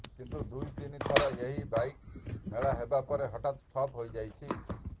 କିନ୍ତୁ ଦୁଇ ତିନି ଥର ଏହି ବାଇକ୍ ମେଳା ହେବା ପରେ ହଠାତ୍ ଠପ୍ ହୋଇଯାଇଛି